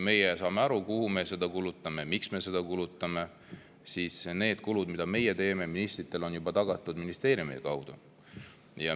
Meie puhul saab aru, kuhu me seda kulutame ja miks me seda kulutame, aga need kulud, mida meie teeme, on ministritel ministeeriumi kaudu juba.